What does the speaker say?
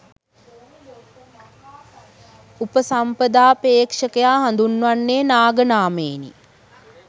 උපසම්පදාපේක්ෂකයා හඳුන්වන්නේ නාග නාමයෙනි.